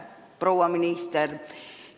Proua minister!